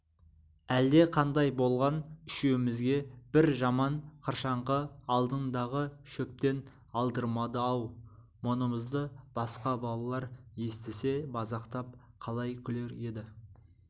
әлдеқандай болған үшеумізге бір жаман қыршаңқы алдындағы шөптен алдырмады-ау мұнымызды басқа балалар естісе мазақтап қалай күлер еді